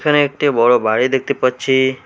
এখানে একটি বড় বাড়ি দেখতে পাচ্ছি।